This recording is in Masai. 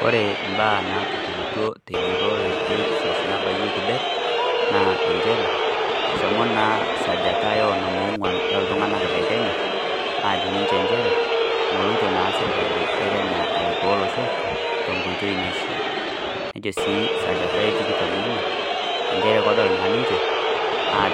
Kore imbaa naatupukutuo te njurore e ipsos nabayieki det naa njere eshomo naa esajata oo onom ong'uan olntung'anak le kenya aajo njere megira ilarikok le kenya arikoo olosho te nkoitoi naishia nejo sii sajata eeh tikitam ong'uan njere ore teninje naa